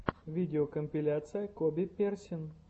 видеокомпиляция коби персин